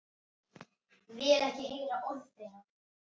Eru það ekki fjórir og hálfur mánuður?